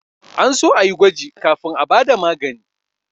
An so a yi gwaji kafin a ba da magani